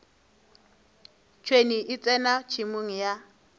tšhwene e tsena tšhemong ya